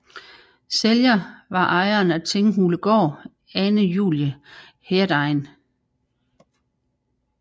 Sælger var ejeren af Tinghulegård Ane Julie Heerdegen